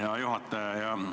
Hea juhataja!